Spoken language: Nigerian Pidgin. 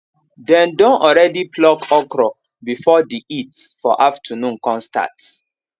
dem don already pluck okra before the heat for afternoon con start